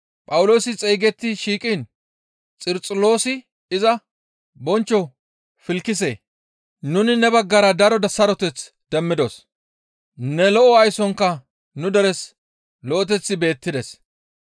Phawuloosi xeygetti shiiqiin Xarxuloosi iza, «Bonchcho Filkisee! Nuni ne baggara daro saroteth demmidos; ne lo7o aysonka nu deres lo7eteththi beettides.